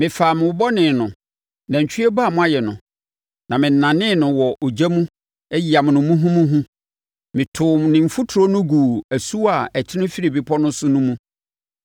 Mefaa mo bɔne no, nantwie ba a moayɛ no, na menanee no wɔ ogya mu yamoo no muhumuhu. Metoo ne mfuturo no guu asuwa a ɛtene firi bepɔ no so no mu.